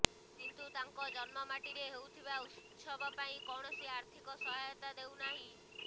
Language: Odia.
କିନ୍ତୁ ତାଙ୍କ ଜନ୍ମମାଟିରେ ହେଉଥିବା ଉତ୍ସବ ପାଇଁ କୌଣସି ଆର୍ଥିକ ସହାୟତା ଦେଉନାହିଁ